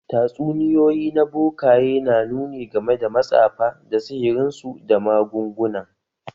Tatsuniyoyi na bokaye na nuni game da matsafa da sihirinsu da magungunan